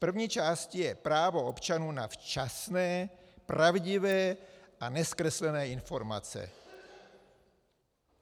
V první části je právo občanů na včasné, pravdivé a nezkreslené informace.